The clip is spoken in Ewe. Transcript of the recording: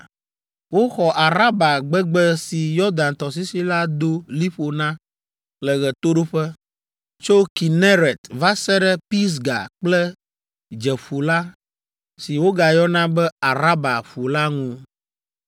Woxɔ Araba gbegbe si Yɔdan tɔsisi la do liƒo na le ɣetoɖoƒe, tso Kineret va se ɖe Pisga kple Dzeƒu la, si wogayɔna be Araba ƒu la ŋu.